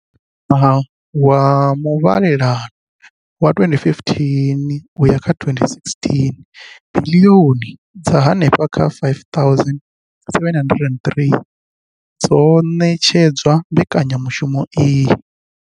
Kha ṅwaha wa muvhalelano wa 2015 2016, biḽioni dza henefha kha R5 703 dzo ṋetshedzwa mbekanyamushumo iyi.